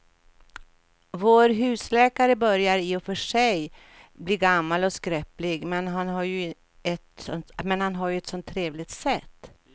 Vår husläkare börjar i och för sig bli gammal och skröplig, men han har ju ett sådant trevligt sätt!